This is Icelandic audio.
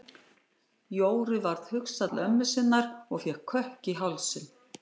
Jóru var hugsað til ömmu sinnar og fékk kökk í hálsinn.